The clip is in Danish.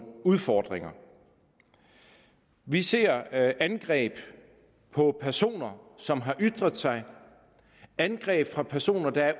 udfordringer vi ser angreb på personer som har ytret sig angreb fra personer der er